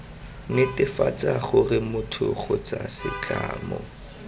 netefatsa gore motho kgotsa setlamo